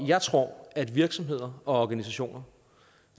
jeg tror at virksomheder og organisationer